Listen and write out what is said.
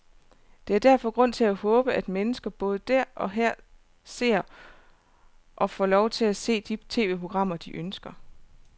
Der er derfor grund til at håbe, at mennesker både der og her ser, og får lov til at se, de tv-programmer, de ønsker.